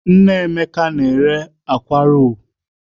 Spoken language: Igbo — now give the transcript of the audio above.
Emeka mama sale’ akwa akwa